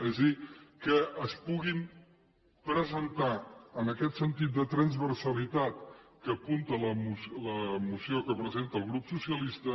és a dir que es puguin presentar amb aquest sentit de transversalitat que apunta la moció que presenta el grup socialista